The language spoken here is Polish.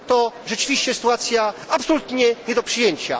To rzeczywiście sytuacja absolutnie nie do przyjęcia.